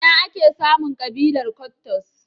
Ina ake samun ƙabilar Kwattos?